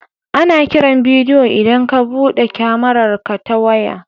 Ana kiran bidiyo idan ka buɗe kyamararka ta waya.